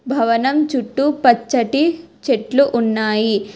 భవనం చుట్టూ పచ్చటి చెట్లు ఉన్నాయి.